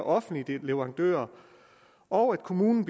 offentlige leverandører og at kommunen